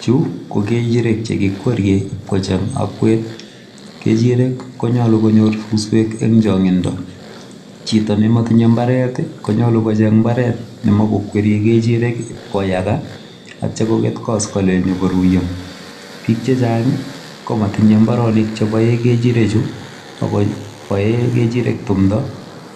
Chu ko kechirek chekikwerie kocheny akwet kechirek konyolu konyor suswek eng chongindo chito nematibyei imbaret konyolu kocheng imbaret ne ikweriei kechirek koyaka kotyo koket koskoling konyikoruiyo Bik chechang komatinyie imbarenik cheboee kechirek Ako boee kechirek tumdo